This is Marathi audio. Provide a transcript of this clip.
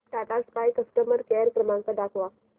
टाटा स्काय कस्टमर केअर क्रमांक दाखवा